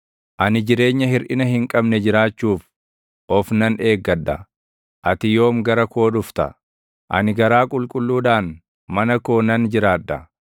Ani jireenya hirʼina hin qabne jiraachuuf of nan eeggadha; ati yoom gara koo dhufta? Ani garaa qulqulluudhaan, mana koo nan jiraadha.